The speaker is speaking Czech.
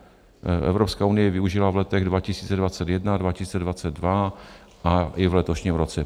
Evropská unie ji využila v letech 2021, 2022 a i v letošním roce.